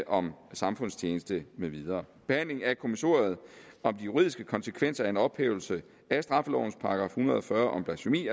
om samfundstjeneste med videre behandlingen af kommissoriet om de juridiske konsekvenser af en ophævelse af straffelovens § en hundrede og fyrre om blasfemi